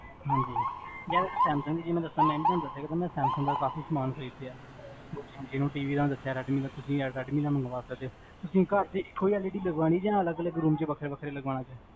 ਹਾਂਜੀ ਮੈਂ ਨਾ ਸੈਮਸੰਗ ਦਾ ਕਾਫੀ ਸਮਾਨ ਖਰੀਦਿਆ